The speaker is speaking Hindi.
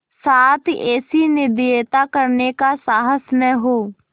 साथ ऐसी निर्दयता करने का साहस न हो